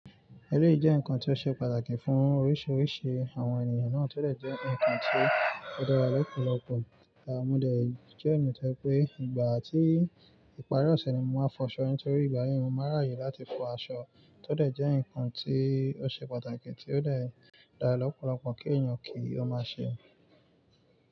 Ẹleyi jẹ́ ǹkan tí ó ṣe pàtàkì fún oríṣiríṣi àwọn ènìyàn náà, tó dẹ̀ jẹ́ ǹkan tí ó dára lọ́pọ̀lọpọ̀. À mọ́ dẹ̀ jẹ́ eeyan to je pé ìgbà tí ìparí ọ̀ṣẹ̀ ni mo máa fọ aṣọ mi torí ìgbà yẹn mo máa ráàyè láti fọ aṣọ. Tó dẹ̀ jẹ́ ǹkan tí ó ṣe pàtàkì, tí ó dára lọ́pọ̀lọpọ̀ kí ènìyàn kí ó máa ṣe.